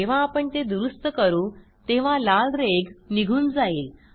जेव्हा आपण ते दुरूस्त करू तेव्हा लाल रेघ निघून जाईल